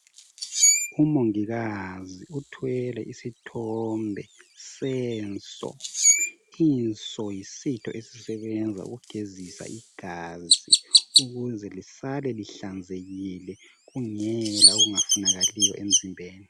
Umongikazi uthwele isithombe senso .Inso yisitho esisebenza ukugezisa igazi ukuze lisale lihlanzekile ,kungela okungafunakaliyo emzimbeni.